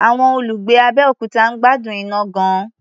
Àwọn olùgbé Abẹ́òkuta ń gbádùn iná gan-an.